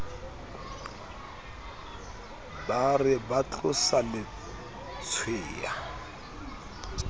ba re ba tlosa letshweya